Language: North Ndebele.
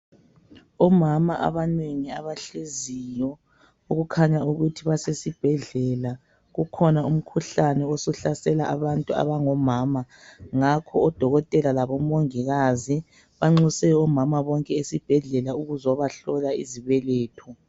Omama abanengi abahleziyo okukhanya ukuthi basesibhedlela. Kukhona umkhuhlane osuhlasela abantu abangomama ngakho odokotela labomongikazi banxuse omama bonke esibhedlela ukuzobahlola izibeletho.